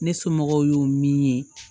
Ne somɔgɔw y'o min ye